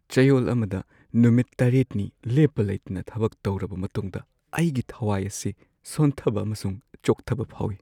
ꯆꯌꯣꯜ ꯑꯃꯗ ꯅꯨꯃꯤꯠ ꯷ꯅꯤ ꯂꯦꯞꯄ ꯂꯩꯇꯅ ꯊꯕꯛ ꯇꯧꯔꯕ ꯃꯇꯨꯡꯗ ꯑꯩꯒꯤ ꯊꯋꯥꯏ ꯑꯁꯤ ꯁꯣꯟꯊꯕ ꯑꯃꯁꯨꯡ ꯆꯣꯛꯊꯕ ꯐꯥꯎꯏ꯫